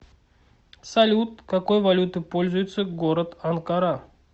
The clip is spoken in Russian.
салют какой валютой пользуется город анкара